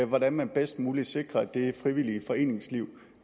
hvordan man bedst muligt sikrer det frivillige foreningsliv